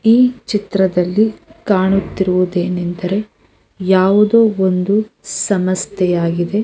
ಈ ಚಿತ್ರದಲ್ಲಿ ಕಾಣುತ್ತಿರುವುದು ಏನೆಂದ್ರೆ ಯಾವುದೊ ಒಂದು ಸಂಸ್ಥೆಯಾಗಿದೆ.